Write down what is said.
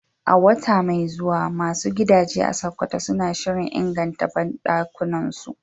A wata mai zuwa, masu gidaje a Sokoto suna shirin inganta banɗakunansu